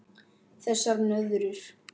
Þessar nöðrur!